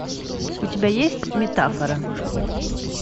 у тебя есть метафора